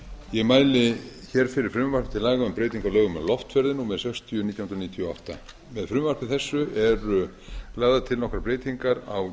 ég mæli fyrir frumvarpi til laga um breyting á lögum um loftferðir númer sextíu nítján hundruð níutíu og átta með frumvarpi þessu eru lagðar til nokkrar breytingar á